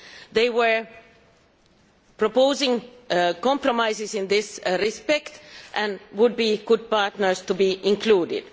They were proposing compromises in this respect and would be good partners to have included.